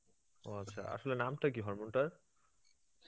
ও আচ্ছা, আসলে নামটা কী hormone টার?